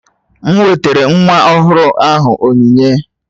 M wetara nwa ọhụrụ ahụ onyinye